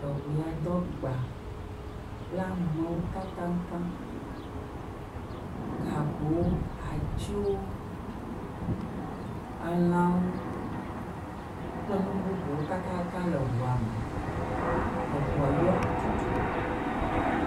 Amewo do agba kple amewo tatataŋ, gagowo, atiwo, elãwo kple nu bubuwo tatataŋ le ŋua me, eŋua yɔ tutu…